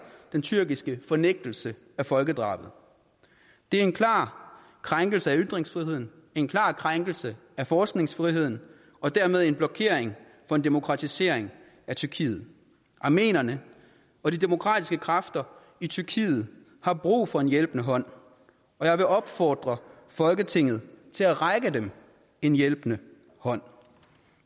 den tyrkiske fornægtelse af folkedrabet det er en klar krænkelse af ytringsfriheden en klar krænkelse af forskningsfriheden og dermed en blokering for en demokratisering af tyrkiet armenierne og de demokratiske kræfter i tyrkiet har brug for en hjælpende hånd jeg vil opfordre folketinget til at række dem en hjælpende hånd